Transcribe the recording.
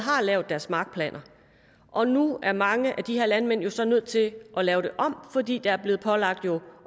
lavet deres markplaner og nu er mange af de her landmænd så nødt til at lave det om fordi de er blevet pålagt